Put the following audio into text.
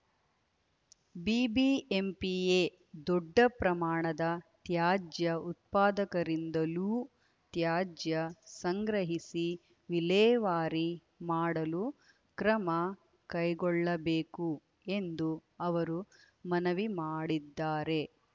ಬಿಬಿಎಂಪಿಯೇ ದೊಡ್ಡ ಪ್ರಮಾಣದ ತ್ಯಾಜ್ಯ ಉತ್ಪಾದಕರಿಂದಲೂ ತ್ಯಾಜ್ಯ ಸಂಗ್ರಹಿಸಿ ವಿಲೇವಾರಿ ಮಾಡಲು ಕ್ರಮ ಕೈಗೊಳ್ಳಬೇಕು ಎಂದು ಅವರು ಮನವಿ ಮಾಡಿದ್ದಾರೆ